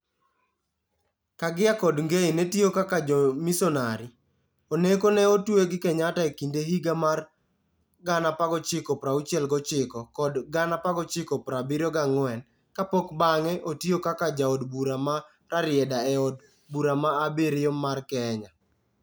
Kaggia kod Ngei ne tiyo kaka jomisonari; Oneko ne otwe gi Kenyatta e kind higa mar 1969 kod 1974, kapok bang'e otiyo kaka Jaod Bura ma Rarieda e Od Bura mar abiriyo mar Kenya.